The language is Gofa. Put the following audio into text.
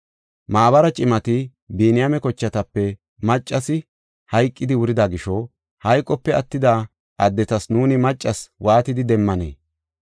Maabara cimati, “Biniyaame kochatape maccasi hayqidi wurida gisho, hayqope attida addetas nuuni maccas waatidi demmanee?